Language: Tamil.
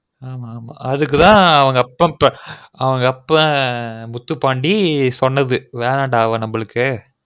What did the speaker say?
அதுக்குதான் அவன் அப்ப முத்துபாண்டி சொன்னது வேண்டம் டா அவள் நமக்கு